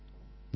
ধন্যবাদ